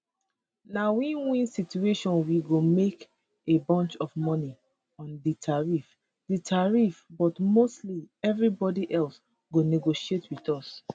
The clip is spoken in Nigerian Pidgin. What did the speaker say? na winwin situation we go make a bunch of money on di tariffs di tariffs but mostly evribody else go negotiate wit us